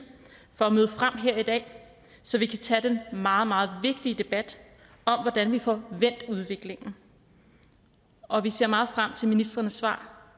for at møde frem her i dag så vi kan tage den meget meget vigtige debat om hvordan vi får vendt udviklingen og vi ser meget frem til ministrenes svar